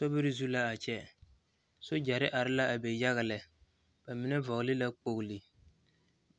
Sobiri zu la a kyɛ sogyare are la be yaga lɛ ba mine vɔgle la kpogri